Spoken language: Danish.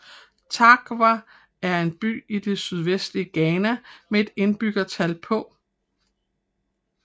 Tarkwa er en by i det sydvestlige Ghana med et indbyggertal på